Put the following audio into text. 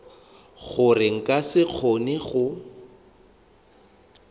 gore nka se kgone go